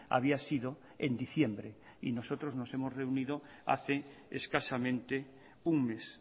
había sido en diciembre y nosotros nos hemos reunido hace escasamente un mes